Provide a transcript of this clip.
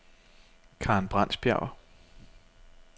Karen Brands Bjerg